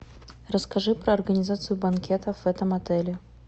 расскажи про организацию банкетов в этом отеле